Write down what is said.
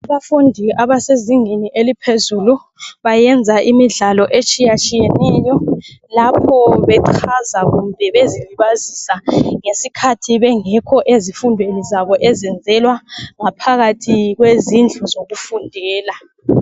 Abafundi abasezingeni eliphezulu bayenza imidlalo etshiyatshiyaneyo lapho bechaza kumbe bezilibazisa ngesikhathi bengekho ezifundweni zabo ezenzelwa ngaphakathi kwezindlu zokufundela.